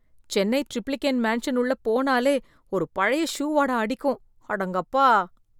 Chennai Triplicane mansion உள்ள போனாலே ஒரு பழைய ஷூ வாடை அடிக்கும், அடங்கொப்பா.